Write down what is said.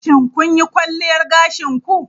Shin kun yi kwalliyar gashin ku?